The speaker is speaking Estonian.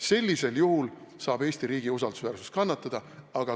Sellisel juhul saab Eesti riigi usaldusväärsus kannatada.